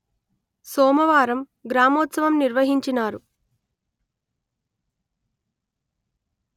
సోమవారం గ్రామోత్సవం నిర్వహించినారు